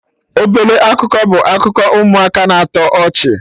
Ọbele ọkụkọ' bụ akụkọ ụmụaka na-atọ ọchị